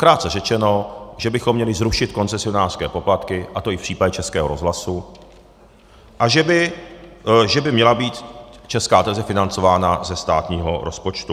Krátce řečeno, že bychom měli zrušit koncesionářské poplatky, a to i v případě Českého rozhlasu, a že by měla být Česká televize financována ze státního rozpočtu.